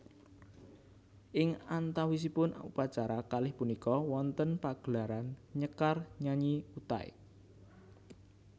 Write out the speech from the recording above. Ing antawisipun upacara kalih punika wonten pagelaran nyekar nyanyi Utai